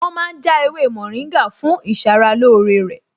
Wọn ma ń já ewé mòríngà fún ìṣaralóore rẹ̀